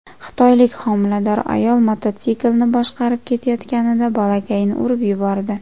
Xitoylik homilador ayol mototsiklni boshqarib ketayotganida bolakayni urib yubordi.